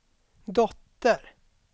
dotter